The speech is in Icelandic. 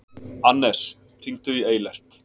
Annes, hringdu í Eilert.